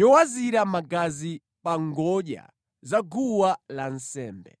yowazira magazi pa ngodya za guwa lansembe.